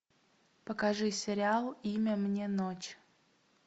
покажи сериал имя мне ночь